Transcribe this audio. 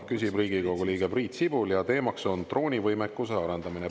Küsib Riigikogu liige Priit Sibul ja teemaks on "Droonivõimekuse arendamine".